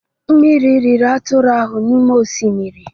Mmiri riri atụrụ ahụ n'ime oshimiri.